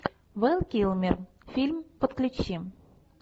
вэл килмер фильм подключи